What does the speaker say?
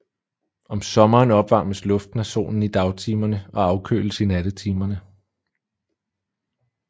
Om sommeren opvarmes luften af solen i dagtimerne og afkøles i nattetimerne